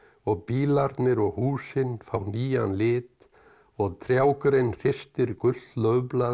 og bílarnir og húsin fá nýjan lit og trjágrein hristir gult laufblað